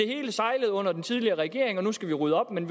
hele sejlede under den tidligere regering og nu skal man rydde op men